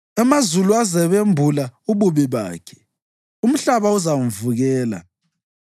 Amazulu azabembula ububi bakhe; umhlaba uzamvukela.